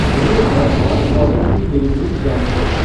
मेरे वर्तमान ऑर्डर की डिलिवरी जांचों